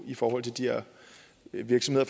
i forhold til de her virksomheder